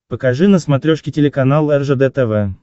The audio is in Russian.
покажи на смотрешке телеканал ржд тв